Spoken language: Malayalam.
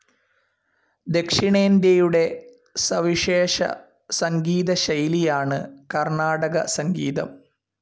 ദക്ഷിണേന്ത്യയുടെ സവിശേഷ സംഗീതശൈലിയാണ് കർണാടകസംഗീതം.